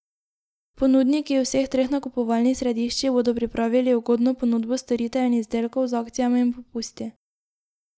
Ponudniki v vseh treh nakupovalnih središčih bodo pripravili ugodno ponudbo storitev in izdelkov z akcijami in popusti.